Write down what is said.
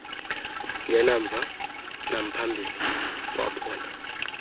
zingenamva namphambili wabona